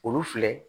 Olu filɛ